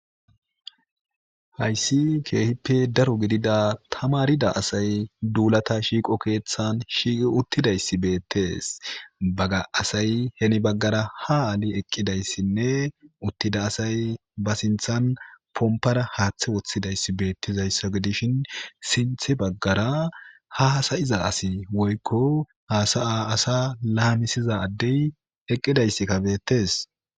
Hayissi kehippe daro gidida tamaridda asayi dulata shiqqo keththanni shiqqi uttidayissi betees.baaga asayi heni bagara haa ali eqidayis nne uttida asayi baa sinththanni pomipara haththe woththidayiss bettizayissa gidishshin sinththe bagara haa hasayizza assi woyikko hasaya asaa lamissiza adeyi eqidayissikka betees.